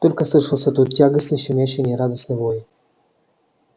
только слышался тут тягостный щемящий и нерадостный вой